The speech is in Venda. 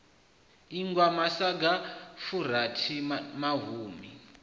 ingwa masaga a furaru mahumi